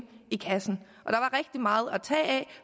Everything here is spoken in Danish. i kassen